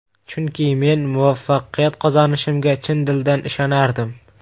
Chunki men muvaffaqiyat qozonishimga chin dildan ishonardim”.